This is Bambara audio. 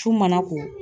Su mana ko